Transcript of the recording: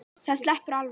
Það sleppur alveg.